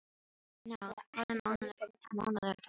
Náð, hvaða mánaðardagur er í dag?